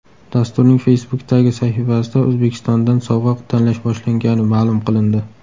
Dasturning Facebook’dagi sahifasida O‘zbekistondan sovg‘a tanlash boshlangani ma’lum qilindi.